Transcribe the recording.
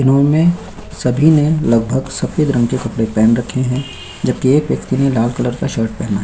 इन्होंने सभी ने लगभग सफेद रंग के कपड़े पहन रखे हैं जबकि एक व्यक्ति ने डार्क कलर का शर्ट पहना हैं।